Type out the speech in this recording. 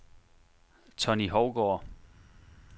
Tonny Hougaard